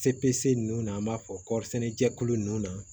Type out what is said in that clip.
Cese nun na an b'a fɔ kɔrisɛnɛjɛkulu ninnu na